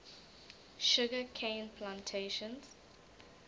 sugar cane plantations